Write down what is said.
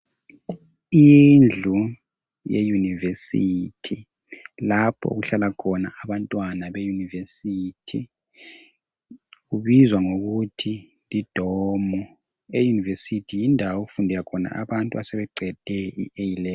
Indlu ye Yunivesithi lapho okuhlala khona abantwana be Yunivesithi kubizwa ngokuthi yi domu. EYunivesithi yindawo okufunda khona abantu asebeqede I A' Level'.